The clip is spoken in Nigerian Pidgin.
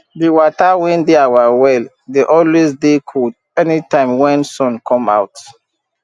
de wata wen dey our well dey always dey cold anytime wen sun come out